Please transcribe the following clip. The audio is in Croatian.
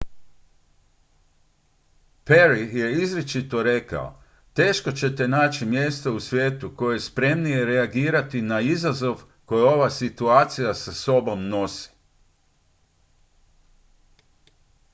"perry je izričito rekao: "teško ćete naći mjesto u svijetu koje je spremnije reagirati na izazov koji ova situacija sa sobom nosi.